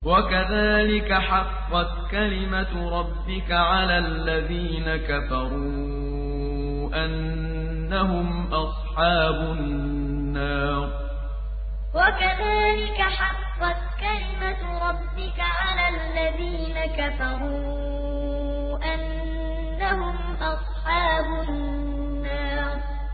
وَكَذَٰلِكَ حَقَّتْ كَلِمَتُ رَبِّكَ عَلَى الَّذِينَ كَفَرُوا أَنَّهُمْ أَصْحَابُ النَّارِ وَكَذَٰلِكَ حَقَّتْ كَلِمَتُ رَبِّكَ عَلَى الَّذِينَ كَفَرُوا أَنَّهُمْ أَصْحَابُ النَّارِ